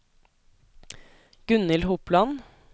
Gunnhild Hopland